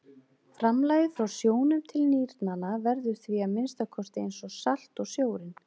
Framlagið frá sjónum til nýrnanna verður því að minnsta kosti eins salt og sjórinn.